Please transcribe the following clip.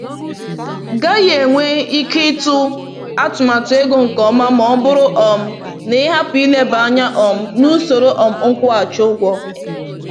gaghị enwe ike ịtụ atụmatụ ego nke ọma ma ọ bụrụ um na ị hapụ ileba anya um na usoro um nkwụghachi ụgwọ.”